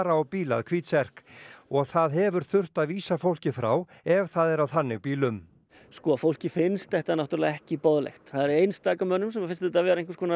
á bíl að hvítserk og þar hefur þurft að vísa fólki frá ef það er á þannig bílum sko fólki finnst þetta náttúrulega ekki boðlegt það er einstaka manni sem finnst þetta vera einhverskonar